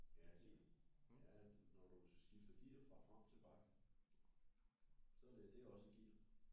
Ja gear jaa når du skifter gear fra frem til bak så det det er også et gear